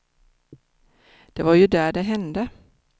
Det var ju där det hände.